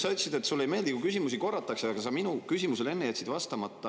Sa ütlesid, et sulle ei meeldi, kui küsimusi korratakse, aga sa minu küsimusele jätsid enne vastamata.